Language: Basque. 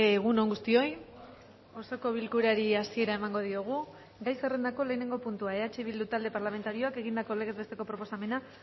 egun on guztioi osoko bilkurari hasiera emango diogu gai zerrendako lehenengo puntua eh bildu talde parlamentarioak egindako legez besteko proposamena